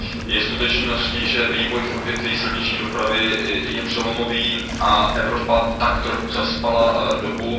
Je skutečností, že vývoj v odvětví silniční dopravy je přelomový a Evropa tak trochu zaspala dobu.